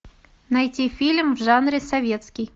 найти фильм в жанре советский